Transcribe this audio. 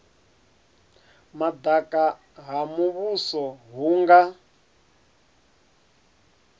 madaka ha muvhuso hu nga